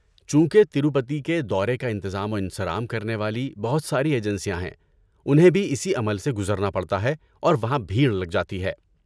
چونکہ تروپتی کے دورے کا انتظام و انصرام کرنے والی بہت ساری ایجنسیاں ہیں، انہیں بھی اسی عمل سے گزرنا پڑتا ہے اور وہاں بھیڑ لگ جاتی ہے۔